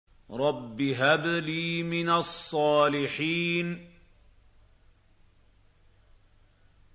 رَبِّ هَبْ لِي مِنَ الصَّالِحِينَ